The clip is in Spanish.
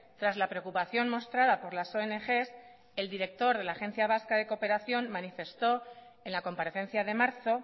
tras la preocupación mostrada por las ongs el director de la agencia vasca de cooperación manifestó en la comparecencia de marzo